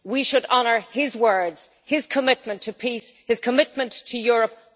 We should honour his words, his commitment to peace and his commitment to Europe.